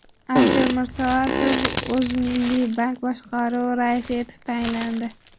Alisher Mirsoatov O‘zmilliybank boshqaruvi raisi etib tayinlandi.